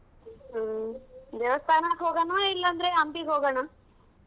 ಹ್ಮ್ ದೇವಸ್ಥಾನಕ್ ಹೋಗೊಣ ಇಲ್ ಅಂದ್ರೆ ಅಂಗ್ಡಿಗ್ ಹೋಗೋಣ?